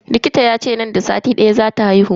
Likita yace nan da sati daya zata haihu.